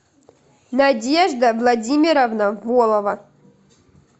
надежда владимировна волова